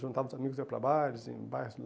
Juntava os amigos e ia para bailes em bairros.